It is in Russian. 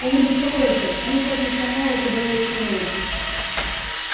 и не беспокойся они профессионалы куда лучше меня